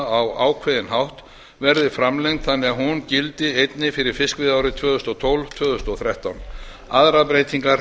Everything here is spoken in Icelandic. á ákveðinn hátt verði framlengd þannig að hún gildi einnig fyrir fiskveiðiárið tvö þúsund og tólf til tvö þúsund og þrettán aðrar breytingar